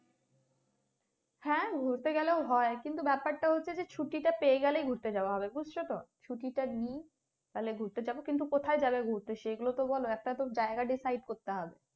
হ্যাঁ ঘুরতে গেলেও হয় কিন্তু ব্যাপারটা হচ্ছে যে ছুটিটা পেয়ে গেলেই ঘুরতে যাওয়া হবে, বুঝছো তো ছুটিটা নেই তাহলে ঘুরতে যাবে? কিন্তু কোথায় যাবে ঘুরতে? সেগুলো তো বলো একটা তো জায়গা decide করতে হবে।